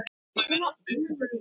HVAMMUR Í DÖLUM